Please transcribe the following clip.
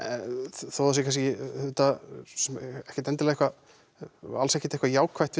þó það sé kannski auðvitað ekkert endilega og alls ekkert eitthvað jákvætt við